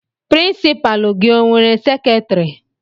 Pirincipalu gi o nwere seketiri?